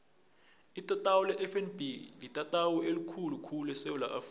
itatawu lefnb litatawu elikhulu khulu esewula afrika